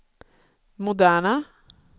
moderna